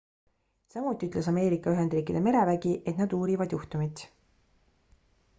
samuti ütles ameerika ühendriikide merevägi et nad uurivad juhtumit